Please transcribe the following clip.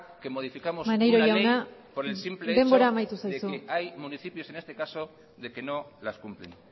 que modificamos una ley por el simple hecho de que hay municipios en este caso de que no las cumplen